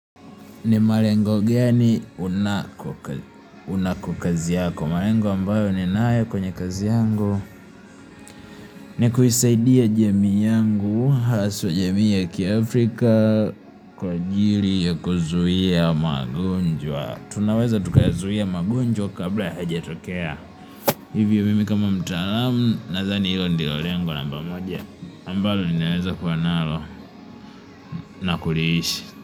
Ni malengo gani, unako kazi yako, malengo ambayo ninayo kwenye kazi yangu ni kuisaidia jamii yangu, haswa jamii ya kiafrika kwa ajili ya kuzuia magonjwa, tunaweza tukazuia magonjwa kabla hayajatokea, hivyo mimi kama mtaalamu, nadhani hilo ndio lengo namba moja ambalo ninaweza kuwa nalo na kuliishi.